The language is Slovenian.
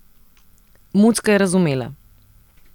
Mucka je razumela.